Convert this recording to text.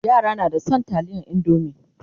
yara na da San taliyar indomie